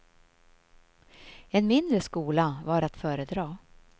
En mindre skola var att föredra.